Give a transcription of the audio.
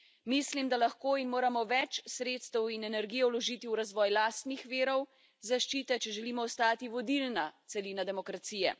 Mislim, da lahko in moramo več sredstev in energije vložiti v razvoj lastnih virov zaščite, če želimo ostati vodilna celina demokracije.